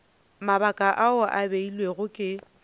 mabaka ao a beilwego ke